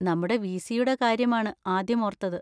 നമ്മുടെ വി.സി.യുടെ കാര്യമാണ് ആദ്യം ഓർത്തത്.